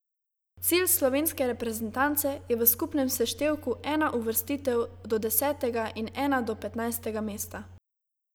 Cilj slovenske reprezentance je v skupnem seštevku ena uvrstitev do desetega in ena do petnajstega mesta.